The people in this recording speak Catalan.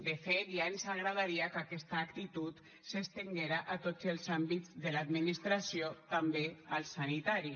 de fet ja ens agradaria que aquesta actitud s’estenguera a tots els àmbits de l’administració també al sanitari